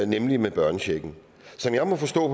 nemlig med børnechecken som jeg må forstå